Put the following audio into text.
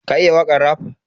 Ka iya wakan raf?